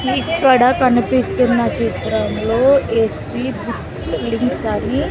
ఇక్కడ కనిపిస్తున్న చిత్రంలో ఎస్ వి బుక్స్ లింక్స్ అని--